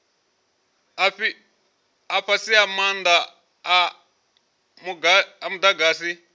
a fhasi maanda a mudagasi